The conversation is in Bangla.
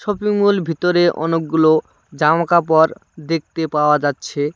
শপিং মল ভিতরে অনেকগুলো জামা কাপড় দেখতে পাওয়া যাচ্ছে।